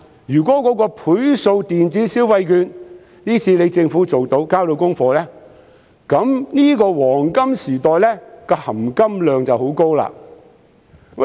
如果政府今次可以推出"倍數電子消費券"，交到功課，這個"黃金時代"的"含金量"就會很高。